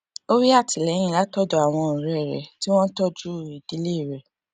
ó rí àtìléyìn látòdò àwọn òré rè tí wón ń tójú ìdílé rè